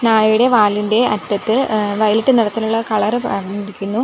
നായയുടെ വാലിന്റെ അറ്റത്ത് ഏ വയലറ്റ് നിറത്തിലുള്ള കളർ പറഞ്ഞിരിക്കുന്നു.